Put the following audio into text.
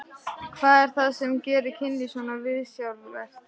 Hvað er það sem gerir kynlíf svona viðsjárvert?